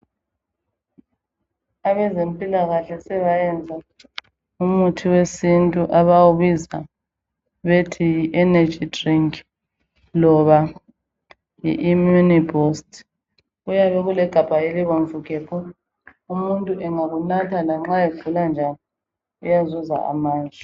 Abezempilakahle sebayenza umuthi wesintu abawubiza bethi yi energy drink loba yi immune booster kuyabe kulegabha elibomvu gebhu umuntu engakunatha lanxa egula njani uyazuza amandla.